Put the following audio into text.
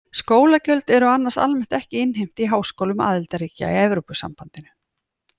Skólagjöld eru annars almennt ekki innheimt í háskólum aðildarríkja í Evrópusambandinu.